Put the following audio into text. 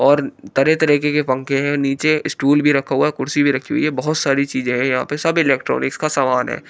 और तरह तरह के पंखे है नीचे स्टूल भी रखा हुआ कुर्सी भी रखी है बहोत सारी चीजें हैं यहां पे सब इलेक्ट्रॉनिक्स का समान है।